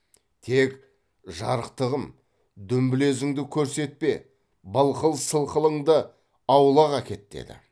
тек жарықтығым дүмбілезіңді көрсетпе былқыл сылқылыңды аулақ әкет деді